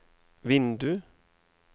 vindu